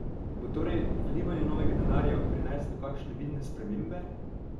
Bo torej vlivanje novega denarja prineslo kakšne vidne spremembe?